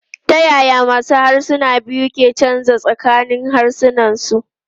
Ta yaya masu harsuna biyu ke canzawa tsakanin harsuna?